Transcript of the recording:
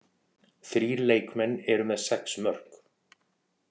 Þrír leikmenn eru með sex mörk.